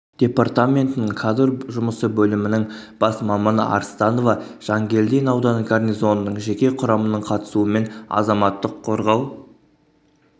департаментінің кадр жұмысы бөлімінің бас маманы арстанова жангелдин ауданы гарнизонының жеке құрамының қатысуымен азаматтық қорғау